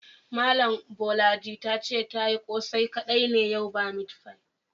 Malami Bolaji ta ce ta yi kose kadai ne yau ba meat pie.